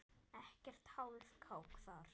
Ekkert hálfkák þar.